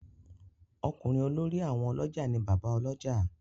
Okunrin olórí àwọn olójà ni Bàbá Olójà.